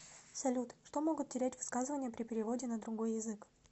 салют что могут терять высказывания при переводе на другой язык